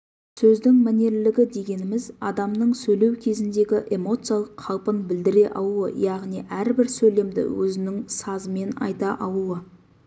сөздің мәнерлілігі дегеніміз адамның сөйлеу кезіндегі эмоциялық қалпын білдіре алуы яғни әрбір сөйлемді өзінің сазымен айта алуы